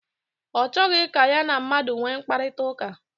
Ọ chọghị ka ya na mmadụ nwee mkparịta ụka.